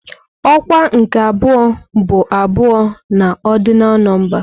Ọkwa nke abụọ bụ abụọ na ọrdịnal nọmba.